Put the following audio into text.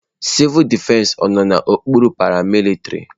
Civul defesi ọ nọ n'okpuru paramilitrị?